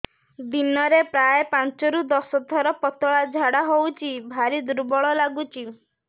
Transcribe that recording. ଦିନରେ ପ୍ରାୟ ପାଞ୍ଚରୁ ଦଶ ଥର ପତଳା ଝାଡା ହଉଚି ଭାରି ଦୁର୍ବଳ ଲାଗୁଚି